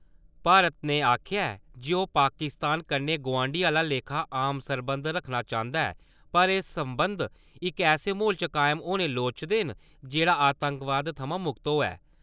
भारत ने आखेआ ऐ जे ओह् पाकिस्तान कन्नै गवांढिएं आह्ला लेखा आम सरबंध रक्खना चांह्दा ऐ पर एह् सरबंध इक ऐसे म्हौल च कायम होने लोड़चदे न जेह्ड़ा आतंकवाद थमां मुक्त होऐ।